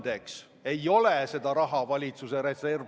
Ettepaneku poolt hääletas 54 Riigikogu liiget, vastu oli 41, erapooletuid ei olnud.